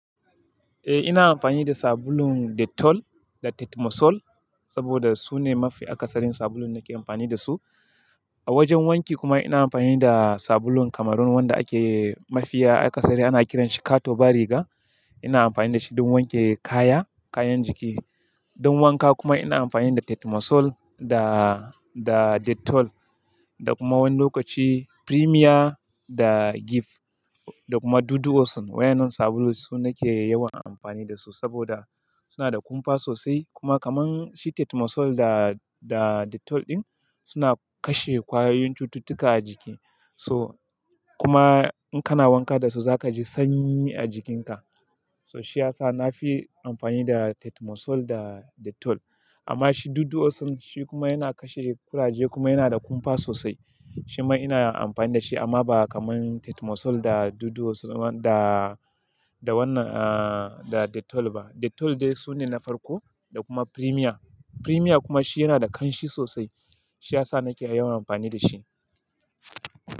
Eh, ina amfani da sabulun Dettol da Tetmosol saboda su ne mafi akasarin sabulun da nake amfani da su. A wajen wanki kuma ina amfani da sabulun kamar wanda ake mafiya akasari ana kiranshi "Kato ba riga". Ina amfani da shi don wanke kaya, kayan jiki. Don wanka kuma ina amfani da Tetmosol da, da Dettol da kuma wani lokaci Premia da Gift da kuma Dudu-O-Son. Waɗannan sabulun su nake yawan amfani da su saboda suna da kumfa sosai. Kuma kamar shi Tetmosol da, da Dettol ɗin suna kashe kwayoyin cututtuka a jiki. So kuma in kana wanka da su za kaji sanyi a jikinka. So shi ya sa na fi amfani da Tetmosol da Dettol. Amma shi Dudu-O-Son shi kuma yana kashe kuraje kuma yana da kumfa sosai. Shi ma ina amfani da shi amma ba kamar Tetmosol da Dudu-O-Son da, da wannan ah, da Dettol ba. Dettol dai su ne na farko da kuma Premia. Premia kuma shi yana da ƙanshi sosai. Shi ya sa nake yawan amfani da shi.